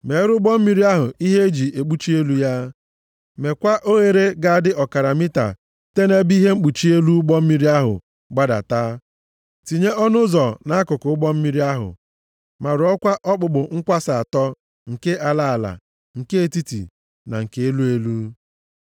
Meere ụgbọ mmiri ahụ ihe e ji ekpuchi elu ya. Mekwa oghere ga-adị ọkara mita site nʼebe ihe mkpuchi elu ụgbọ mmiri ahụ gbadata. Tinye ọnụ ụzọ nʼakụkụ ụgbọ mmiri ahụ, ma rụọkwa okpukpu nkwasa atọ, nke ala ala, nke etiti na nke elu elu.